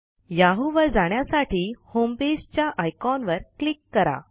Yahoo वर जाण्यासाठी homepageच्या आयकॉनवर क्लिक करा